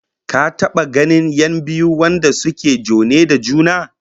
Ka taba ganin 'yan biyu wanda suke jone da juna?